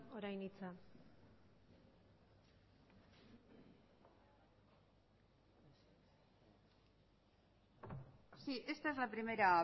orain hitza sí esta es la primera